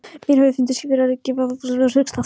Mér hefði fundist ég vera að gefa á mér höggstað.